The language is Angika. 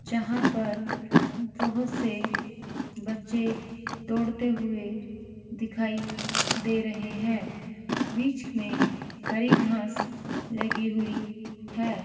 जहाँ पर बहुत से बच्चे दौड़ते हुए दिखाई दे रहे हैं बीच में हरी घास लगी हुई है।